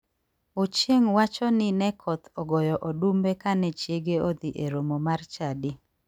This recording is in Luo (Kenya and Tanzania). Ochieng wacho ni ne koth ogoyo odumbe kane chiege odhi e romo mar chadi.